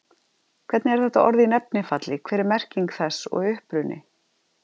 Hvernig er þetta orð í nefnifalli, hver er merking þess og uppruni?